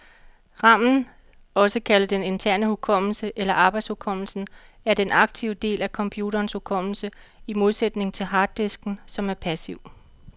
Ramen, også kaldet den interne hukommelse eller arbejdshukommelsen, er den aktive del af computerens hukommelse, i modsætning til harddisken, som er passiv.